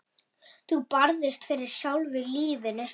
Þú barðist fyrir sjálfu lífinu.